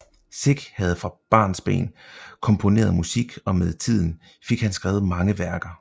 Sick havde fra barnsben komponeret musik og med tiden fik han skrevet mange værker